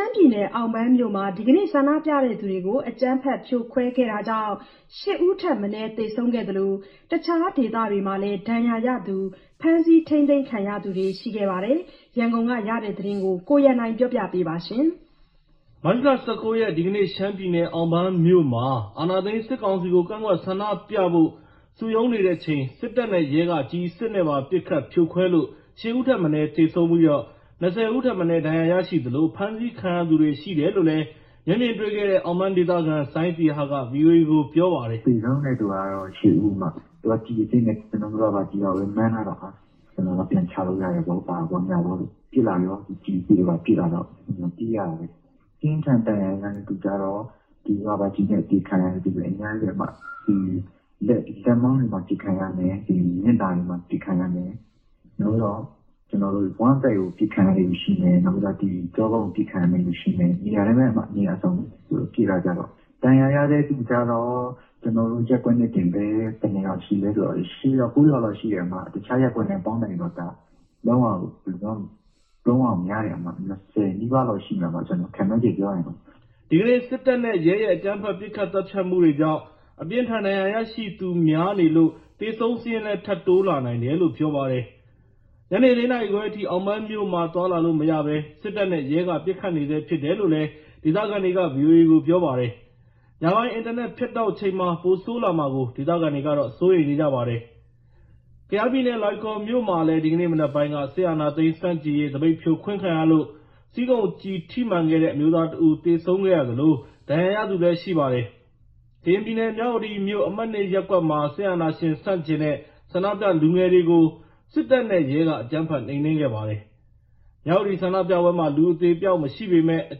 မ်းပြည်နယ်၊ အောင်ပန်းမြို့မှာ ဒီကနေ့ ဆန္ဒပြသူတွေကို အကြမ်းဖက် ဖြိုခွဲခဲ့တာကြောင့် ၈ ဦးထက်မနည်း သေဆုံးခဲ့သလို တခြားဒေသတွေမှာလည်း ဒဏ်ရာရသူ၊ ဖမ်းဆီး ထိန်းသိမ်းခံရသူတွေ ရှိခဲ့ပါတယ်။ ရန်ကုန်ကရတဲ့သတင်းကို ကိုရန်နိုင်က တင်ပြထားပါတယ်။ မတ်လ ၁၉ ရက် ဒီကနေ့ ရှမ်းပြည်နယ်၊ အောင်ပန်းမြို့မှာ အာဏာသိမ်း စစ်ကောင်စီကို ကန့်ကွက်ဆန္ဒပြဖို့ စုရုံးနေချိန် စစ်တပ်နဲ့ ရဲက ကျည်အစစ်နဲ့ပါ ပစ်ခတ်ဖြိုခွဲလို့ ၈ ဦးထက်မနည်းသေဆုံးပြီး ၂၀ ဦးထက်မနည်း ဒဏ်ရာရရှိသလို ဖမ်းဆီးခံရသူတွေလည်း ရှိတယ်လို့ မျက်မြင်တွေ့ခဲ့တဲ့ အောင်ပန်းဒေသခံ စိုင်းသီဟက ဗွီအိုအေကို ပြောပါတယ်။ “သေဆုံးတဲ့သူက ၈ ဦး။ သူက ကျည်အစစ်နဲ့ သုံးတာလေ။ ကျနော်တို့က ရာဘာကျည်ပဲ မှန်းထားတော့။ ဟာ…ပြန်ချလို့ရတယ်ပေါ့၊ ဘာပေါ့ ညာပေါ့။ ပစ်လာရော ကျည်အစစ်တွေပါ ပစ်လာတော့ ပြေးရတာပဲ။ ပြင်းထန်ဒဏ်ရာရတဲ့သူကျတော့ ရာဘာကျည်နဲ့ အပစ်ခံရတဲ့သူတွေ အများကြီးပဲ။ လက်မောင်းတွေမှာ ပစ်ခံရမယ်၊ ဒီမျက်နှာတွေမှာ ပစ်ခံရမယ်၊ နောက်ပြီးတော့ ကျနော်တို့ ဝမ်းဗိုက်ကို ပစ်ခံရတဲ့သူ ရှိမယ်။ နောက်ပြီးတော့ ဒီကျောကုံးကို ပစ်ခံရတဲ့လူရှိမယ်။ နေရာတိုင်းပဲ ပစ်တာကြတော့။ ဒဏ်ရာရတဲ့သူကျတော့ ကျနော်တို့ ရပ်ကွက်နဲ့တင် ဘယ်နှစ်ယောက်ရှိလဲဆိုတော့ ၈ ယောက်၊ ၉ ယောက်လောက်ရှိတယ်။ တခြားရပ်ကွက်နဲ့ ပေါင်းလိုက်ရင်တော့ ဘယ်လိုပြောရမလဲ လုံးဝကို များတယ်၊ ၂၀ နီးပါးလောက်ရှိမယ်၊ ကျနော်ခန့်မှန်းခြေပြောရင်တော့။ ကျနော်တို့ တစ်ဖက်ရပ်ကွက်ကို ဖုန်းလှမ်းဆက်မေးကြည့်တယ်။" ဒီကနေ့ စစ်တပ်နဲ့ ရဲရဲ့ အကြမ်းဖက် ပစ်ခတ်သတ်ဖြတ်မှုကြောင့် အပြင်းအထန်ဒဏ်ရာရရှိသူများနေ လို့ သေဆုံးစာရင်း ထပ်တိုးလာနိုင်တယ်လို့လည်း ပြောပါတယ်။ ညနေ ၄ နာရီခွဲအထိ အောင်ပန်းမြို့မှာ သွားလာလို့မရဘဲ စစ်တပ်နဲ့ ရဲက ပစ်ခတ်နေဆဲဖြစ်တယ်လို့ ဒေသခံတွေက ဗွီအိုအေကို ပြောပါတယ်။ ညပိုင်း အင်တာနက်ဖြတ်တောက်ချိန်မှာ ပိုဆိုးလာမှာကို ဒေသခံတွေက စိုးရိမ်နေကြပါတယ်။ ကယားပြည်နယ် လွိုင်ကော်မြို့မှာလည်း ဒီနေ့မနက်ပိုင်း စစ်အာဏာသိမ်းဆန့်ကျင်ရေး သပိတ်ဖြိုခွင်းခံရလို့ ဆီးခုံကျည်မှန်တဲ့ အမျိုးသားတစ်ဦး သေဆုံးခဲ့ရသလို ဒဏ်ရာရသူလည်း ရှိပါတယ်။ ကရင်ပြည်နယ် မြဝတီမြို့ အမှတ် (၂) ရပ်ကွက်မှာ စစ်အာဏာရှင်ဆန့်ကျင်တဲ့ ဆန္ဒပြလူငယ်တွေကို စစ်တပ်နဲ့ ရဲက အကြမ်းဖက်နှိမ်နင်းခဲ့ပါတယ်။ မြဝတီဆန္ဒပြပွဲမှာ လူအသေအပျောက်မရှိပေမယ့် အ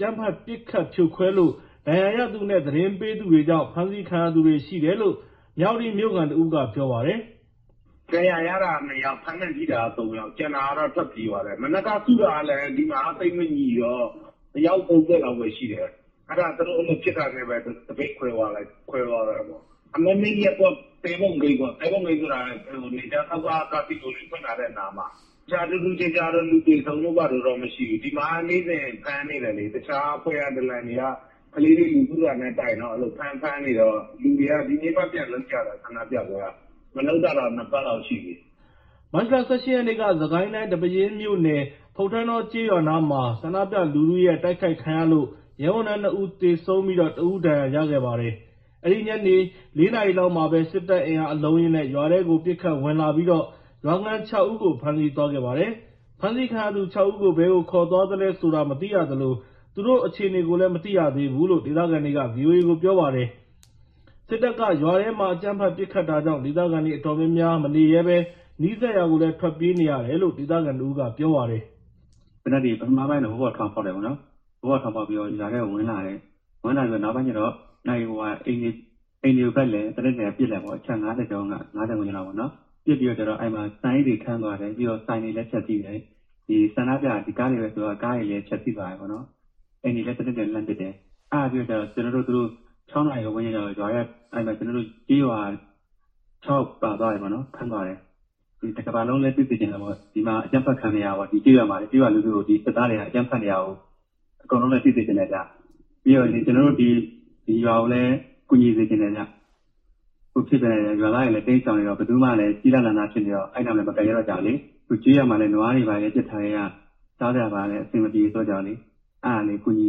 ကြမ်းဖက်ပစ်ခတ်ဖြိုခွဲလို့ ဒဏ်ရာရသူနဲ့ သတင်းပေးသူတွေကြောင့် ဖမ်းဆီးခံရသူတွေရှိတယ်လို့ မြဝတီမြို့ခံတစ်ဦးက ပြောပါတယ်။ “ဒဏ်ရာရတာ နှစ်ယောက်၊ အဖမ်းခံထိတာက သုံးယောက်၊ ကျန်တာကတော့ ထွက်ပြေးသွားတယ်။ မနက်က စုတာလည်း ဒီမှာက သိပ်မညီတော့ အယောက် ၃၀ လောက်ပဲရှိတယ်။ အဲ့ဒါသူတို့အဲ့လိုဖြစ်တာနဲ့ပဲ သပိတ်ခွဲသွားတာပေါ့။ အမှတ်(၂) ရပ်ကွက် သဲပုံဂိတ်ပေါ့၊ သဲပုံဂိတ်ဆိုတာ နယ်ခြားစောင့်က ကာဆီနိုဖွင့်ထားတဲ့နားမှာ။ တခြားထူးထူးခြားခြားတော့ လူသေဆုံးတို့ဘာတို့ မရှိဘူး။ ဒီမှာ နေ့စဉ်ဖမ်းနေတာလေ။ တခြားအဖွဲ့က ဒလံတွေက ကလေးတွေ လူစုတာနဲ့ တိုင်တော့ အဲ့လိုဖမ်း ဖမ်းနေတော့ လူတွေ ဒီနေ့မှာ ပြန်လုပ်ကြတယ်။ ဆန္ဒပြပွဲက မလုပ်တာက နှစ်ပတ်လောက်ရှိပြီ။” မတ်လ ၁၈ ရက် မနေ့က စစ်ကိုင်းတိုင်းထဲက ဒီပဲယင်းမြို့နယ် ဖုတ္ထန်းတောကျေးရွာနားမှာ ဆန္ဒပြလူထုရဲ့ တိုက်ခိုက်ခံရလို့ ရဲဝန်ထမ်း နှစ်ဦးသေဆုံး၊ တစ်ဦး ဒဏ်ရာရခဲ့ပါတယ်။ အဲ့ဒီနေ့ ညနေ ၄ နာရီလောက်မှာ စစ်တပ်အင်အား အလုံးအရင်းနဲ့ ရွာထဲကို ပစ်ခတ်ဝင်လာပြီးတော့ ရွာခံ ၆ ဦး ဖမ်းဆီးသွားပါတယ်။ ဖမ်းဆီးခံရသူ ၆ ဦးကို ဘယ်ကိုခေါ်သွားသလဲဆိုတာ မသိရသလို သူတို့အခြေအနေကိုလည်း မသိရသေးဘူးလို့ ဒေသခံတွေက ဗွီအိုအေကို ပြောပါတယ်။ စစ်တပ်က ရွာထဲမှာ အကြမ်းဖက် ပစ်ခတ်တာကြောင့် ဒေသခံတွေ အတော်များများမနေရဲဘဲ နီးစပ်ရာ ထွက်ပြေးနေကြရတယ်လို့ ဒေသခံတစ်ဦးက ပြောပါတယ်။ “သေနတ်တွေ ပထမပိုင်းတော့ မိုးပေါ်ထောင်ဖောက်တယ်ပေါ့နော်။ မိုးပေါ်ထောင်ဖောက်ပြီးတော့ ရွာထဲဝင်လာတယ် ဝင်ပြီး နောက်ပိုင်းကျတော့ အိမ်တွေဘက်လည်း သေနတ်တွေ ပစ်လိုက်တယ်ပေါ့ အချက် ၅၀ ကျော် ၊ ၅၀ ဝန်းကျင်လောက်ပေါ့နော်၊ ပစ်ပြီးကျတော့ အဲ့မှာ ဆန်အိတ်တွေထန်းသွာတယ် ။ ပြီးတော့ ဆိုင်တွေလည်း ဖျက်ဆီးတယ်၊ ဒီဆန္ဒပြ ဒီကားတွေပဲဆိုတော့ ဒီကားတွေလည်း ဖျက်ဆီးသွားတယ်ပေ့ါနော်၊ အိမ်တွေလည်း သေနတ်တွေ လှမ်းပစ်တယ်၊ အဲ့ဒါပြီးတော့ ၆ နာရီဝန်းကျင်ကျတော့ ရွာထဲ အဲ့ကျေးရွာ ၆ယောက်ပါသွားတယ်။ ဖမ်းသွားတယ်။ ဒီမှာ အကြမ်းဖက်ခံနေရတယ်။ ဒီကျေးရွာထဲမှာ ရွာလူထုကို ဒီစစ်သားတွေ အကြမ်းဖက်နေတာကို အကုန်လုံးလည်း သိစေချင်တယ်ဗျ။ ပြီးတော့ ကျနော်တို့ ဒီရွာကိုလည်း ကူညီစေချင်တယ်ဗျ၊ အခုဖြစ်နေတာ ရွာသားတွေလည်း တိမ်ရှောင်နေတာ ဘယ်သူမှလည်း ကျီးလန်းစာစားဖြစ်နေတော့အဲ့နားမှာ မကပ်ရဲကြဘူးလေး အခုကျေးရွာမှာ နွားတွေဘာတွေ ပစ်ထားခဲ့ရ စားစရာဘာတွေလည်း အဆင်မပြေကြတော့လေ။ အဲ့ဒါကိုကူညီ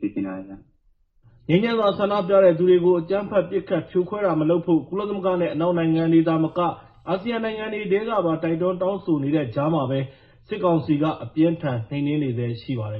စေချင်တာဗျ။” ငြိမ်းချမ်းစွာဆန္ဒပြသူတွေကို အကြမ်းဖက် ပစ်ခတ်ဖြိုခွဲတာမလုပ်ဖို့ ကုလသမဂ္ဂနဲ့ အနောက်နိုင်ငံတွေသာ မက အာဆီယံနိုင်ငံတွေထဲကပါ တိုက်တွန်းတောင်းဆိုနေတဲ့ကြားမှာပဲ စစ်ကောင်စီက အပြင်းအထန် နှိမ်နင်းနေဆဲရှိပါတယ်